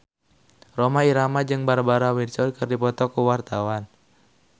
Rhoma Irama jeung Barbara Windsor keur dipoto ku wartawan